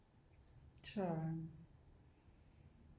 Så